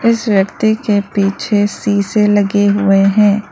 इस व्यक्ति के पीछे शीशे लगे हुए हैं।